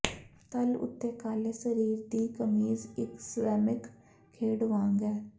ਤਲ ਉੱਤੇ ਕਾਲੇ ਸਰੀਰ ਦੀ ਕਮੀਜ਼ ਇੱਕ ਸਵੈਮਿਕ ਖੇਡ ਵਾਂਗ ਹੈ